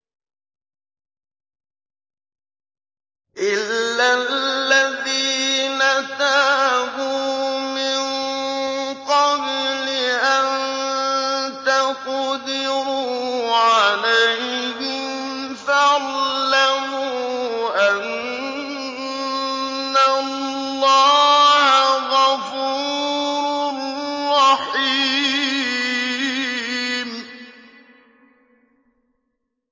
إِلَّا الَّذِينَ تَابُوا مِن قَبْلِ أَن تَقْدِرُوا عَلَيْهِمْ ۖ فَاعْلَمُوا أَنَّ اللَّهَ غَفُورٌ رَّحِيمٌ